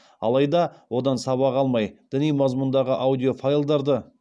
алайда одан сабақ алмай діни мазмұндағы аудиофайлдарды